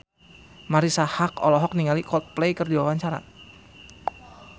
Marisa Haque olohok ningali Coldplay keur diwawancara